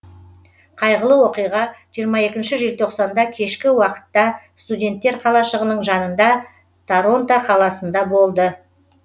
қайғылы оқиға жиырма екінші желтоқсанда кешкі уақытта студенттер қалашығының жанында торонто қаласында болды